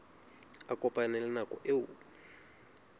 a kopane le nako eo